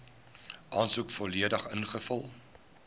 aansoek volledig ingevul